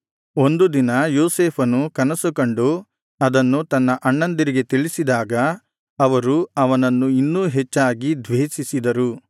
ಒಂದು ದಿನ ಯೋಸೇಫನು ಕನಸು ಕಂಡು ಅದನ್ನು ತನ್ನ ಅಣ್ಣಂದಿರಿಗೆ ತಿಳಿಸಿದಾಗ ಅವರು ಅವನನ್ನು ಇನ್ನೂ ಹೆಚ್ಚಾಗಿ ದ್ವೇಷಿಸಿದರು